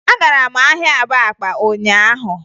Agara m ahịa Abakpa ụnyaahụ